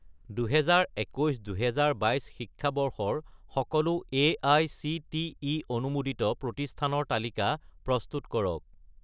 2021 - 2022 শিক্ষাবৰ্ষৰ সকলো এআইচিটিই অনুমোদিত প্ৰতিষ্ঠানৰ তালিকা প্ৰস্তুত কৰক